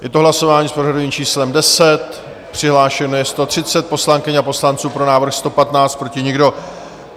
Je to hlasování s pořadovým číslem 10, přihlášeno je 130 poslankyň a poslanců, pro návrh 115, proti nikdo.